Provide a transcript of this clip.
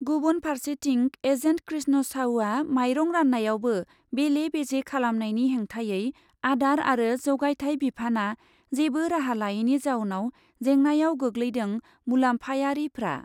गुबुन फार्सेथिं, एजेन्ट कृष्ण साउआ माइरं रान्नायावबो बेले बेजे खालामनायनि हेंथायै आदार आरो जगायथाय बिफाना जेबो राहा लायैनि जाउनाव जेंनायाव गोग्लैदों मुलाम्फायारिफ्रा।